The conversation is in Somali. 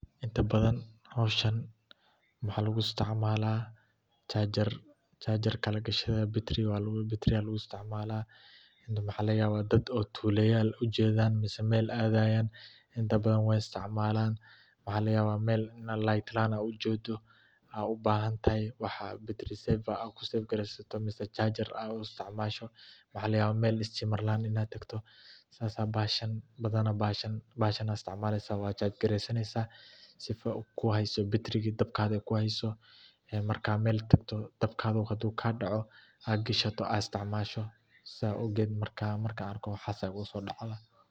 Inta badan howshan waxaa lagu isticmaalaa charger ayaa lagashta, waxa laga yaaba meel nal laan inaad tagto, bahashan ayaad isticmaleysa, dabka haduu kaa daco aad hashato.